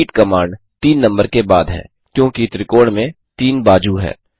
repeat command 3 number के बाद है क्योंकि त्रिकोण में 3 बाजू हैं